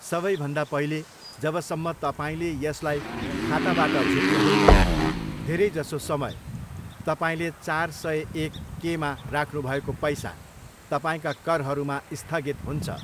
सबैभन्दा पहिले, जबसम्म तपाईँले यसलाई खाताबाट झिक्नुहुन्न, धेरै जसो समय, तपाईँले चार सय एक केमा राख्नुभएको पैसा तपाईँका करहरूमा स्थगित हुन्छ।